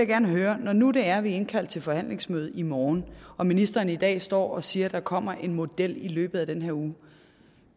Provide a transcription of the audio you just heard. gerne høre når nu det er at vi er indkaldt til forhandlingsmøde i morgen og ministeren i dag står og siger at der kommer en model i løbet af den her uge